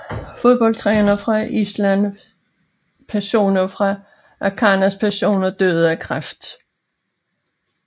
Fodboldtrænere fra Island Personer fra Akranes Personer døde af kræft